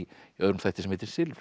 öðrum þætti sem heitir silfrið